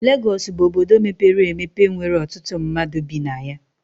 Legọs bụ obodo mepere emepe nwere ọtụtụ mmadụ bi na ya.